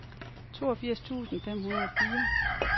toogfirs tusind fem hundrede og fire